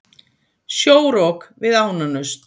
Sjórok við Ánanaust